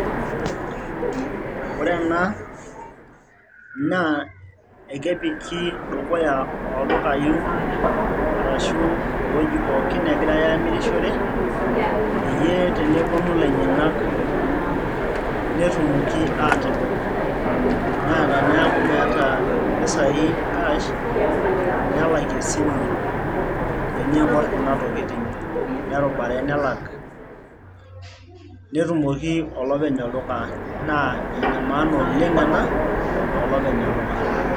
Ore ena naa ekepiki dukuya oldukai arashu ewoji pookin negira amirishore peyie teneponu ilainyiang'ak netumoki atodol naa teneeku meeta impisai cash nelakie esimu eniing'orr kuna tokitin nerubare nelak netumoki olopeny olduka naa ena maana oleng ena tolopeny olduka.